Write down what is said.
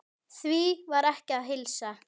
Því var ekki að heilsa.